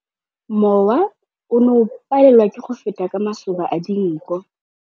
Mowa o ne o palelwa ke go feta ka masoba a dinko.